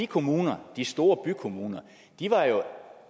kommuner de store bykommuner